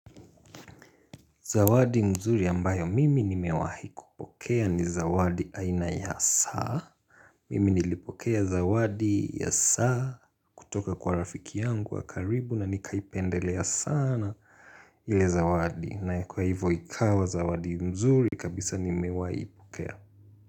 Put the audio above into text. Zawadi mzuri ambayo mimi nimewahi kupokea ni zawadi aina ya saa. Mimi nilipokea zawadi ya saa kutoka kwa rafiki yangu wa karibu na nikaipendelea sana ile zawadi. Na kwa hivo ikawa zawadi nzuri kabisa nimewahi pokea.